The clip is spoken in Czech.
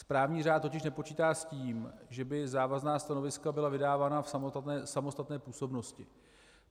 Správní řád totiž nepočítá s tím, že by závazná stanoviska byla vydávána v samostatné působnosti.